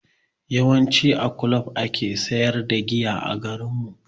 Yawanci a kulob ake sayar da giya a garinmu.